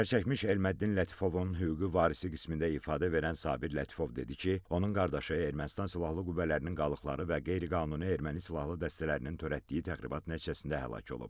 Zərərçəkmiş Telman Lətifovun hüquqi varisi qismində ifadə verən Sabir Lətifov dedi ki, onun qardaşı Ermənistan silahlı qüvvələrinin qalıqları və qeyri-qanuni erməni silahlı dəstələrinin törətdiyi təxribat nəticəsində həlak olub.